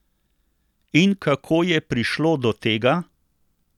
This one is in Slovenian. In kako je prišlo do tega?